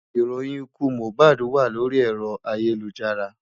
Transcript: Ìròyìn ikú Mohbad wà lórí ẹ̀rọ ayélujára.